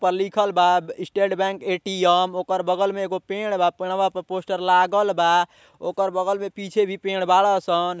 पर लिखल बा स्टेट बैंक एटीएम ओकर बगल में एगो पेड़ बा पेड़वा पर पोस्टर लागल बा ओकर बगल में पीछे भी पेड़ बाड़न सन।